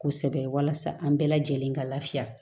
Kosɛbɛ walasa an bɛɛ lajɛlen ka lafiya